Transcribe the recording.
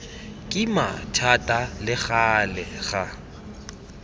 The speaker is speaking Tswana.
kima thata le gale ga